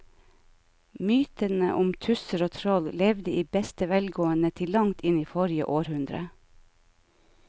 Mytene om tusser og troll levde i beste velgående til langt inn i forrige århundre.